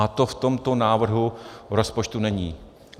A to v tomto návrhu rozpočtu není.